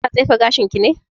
Kina tsefe gashin ki ne?